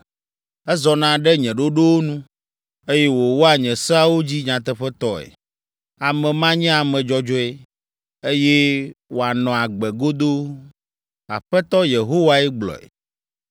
Ezɔna ɖe nye ɖoɖowo nu, eye wòwɔa nye seawo dzi nyateƒetɔe. Ame ma nye ame dzɔdzɔe, eye wòanɔ agbe godoo.” Aƒetɔ Yehowae gblɔe.